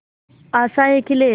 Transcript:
आशाएं खिले